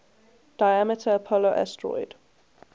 diameter apollo asteroid